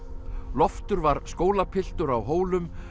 Loftur var skólapiltur á Hólum